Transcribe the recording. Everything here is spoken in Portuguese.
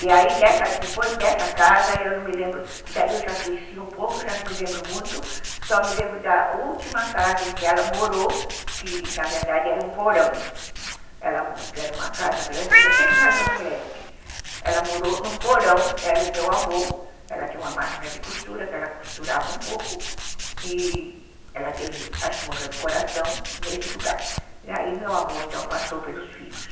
E aí depois dessa casa eu não me lembro, daí eu já cresci um pouco, já não me lembro muito. Só me lembro da última casa em que ela morou, que na verdade era um porão, ) era uma casa grande, sempre na Zona Leste. Ela morou num porão, ela e meu avô. Ela tinha uma máquina de costura que ela costurava um pouco e ela teve, acho que morreu do coração nesse lugar, e aí meu avô então passou para os filhos.